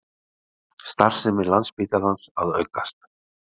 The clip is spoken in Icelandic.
Starfsemi Landspítalans að aukast